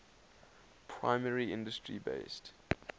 primary industry based